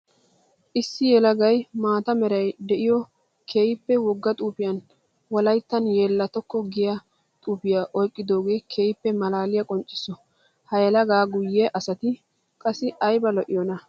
Issi yelagay maata meray de'iyo keehippe wogga xuufiyan wolayttan yeelattokko giya xuufiya oyqqidooge keehippe maalaliya qoncciso. Ha yelaga guye asatti qassi aybba lo'iyoona!